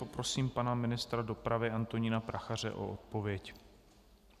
Poprosím pana ministra dopravy Antonína Prachaře o odpověď.